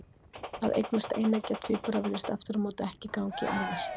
Að eignast eineggja tvíbura virðist aftur á móti ekki ganga í erfðir.